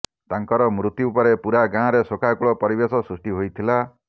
ତାଙ୍କର ମୃତ୍ୟୁପରେ ପୂରା ଗାଁରେ ଶୋକାକୂଳ ପରିବେଶ ସୃଷ୍ଟି ହୋଇଥିଲା